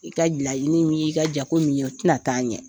I ka laɲini min y'i ka jago nin ye, o tɛna taa ɲɛ.